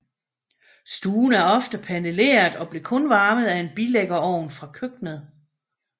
Stuen er ofte paneleret og blev kun varmet af en bilæggerovn fra køkkenet